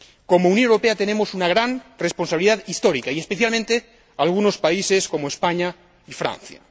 Como Unión Europea tenemos una gran responsabilidad histórica, y especialmente algunos países como España y Francia.